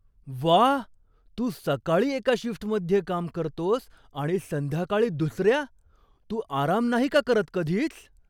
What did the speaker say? व्वा! तू सकाळी एका शिफ्टमध्ये काम करतोस आणि संध्याकाळी दुसऱ्या! तू आराम नाही का करत कधीच?